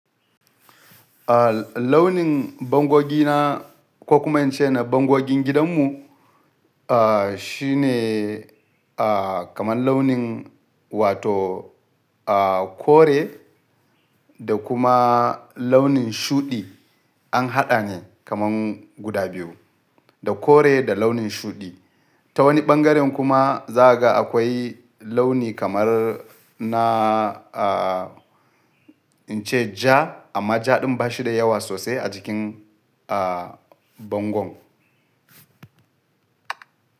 Ah launin bangogina ko kuma in ce na bangogin gidanmu, ah shine ah kamar launin wato kore da kuma launin shuɗi an haɗa ne kamar guda biyu, da kore da launin shuɗi. Ta wani ɓangaren kuma za ka ga akwai launi kamar na ah in ce ja amma ja ɗin ba shi da yawa sosai a jikin ah bangon.